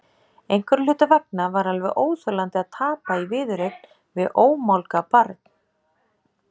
Einhverra hluta vegna var alveg óþolandi að tapa í viðureign við ómálga barn.